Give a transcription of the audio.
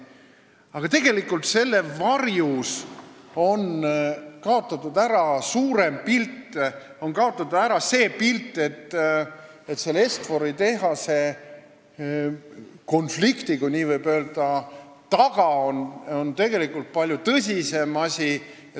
Aga tegelikult on selle varjus kaotatud ära suurem pilt, on kaotatud ära tõsiasi, et selle Est-Fori tehase konflikti taga – kui nii ikka võib öelda – on tegelikult palju tõsisem asi.